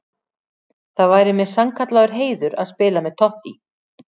Það væri mér sannkallaður heiður að spila með Totti.